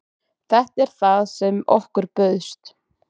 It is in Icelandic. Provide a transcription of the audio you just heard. Þetta er það sem okkur bauðst